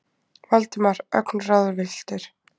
Valdimar, ögn ráðvilltur.